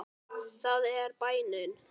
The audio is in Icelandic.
Það er bænin.